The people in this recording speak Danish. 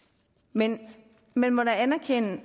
men man må da anerkende